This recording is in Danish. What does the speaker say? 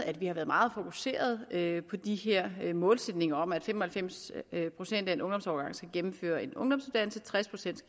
at vi har været meget fokuseret på de her målsætninger om at fem og halvfems procent af en ungdomsårgang skal gennemføre en ungdomsuddannelse tres procent